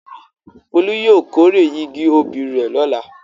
Folú yóò kórè igi obì rẹ̀ lọ́la.